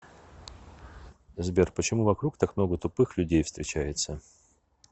сбер почему вокруг так много тупых людей встречается